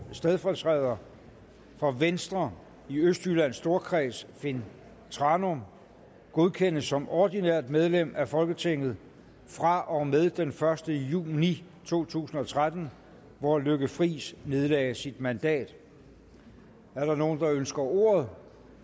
stedfortræder for venstre i østjyllands storkreds finn thranum godkendes som ordinært medlem af folketinget fra og med den første juni to tusind og tretten hvor lykke friis nedlagde sit mandat er der nogen der ønsker ordet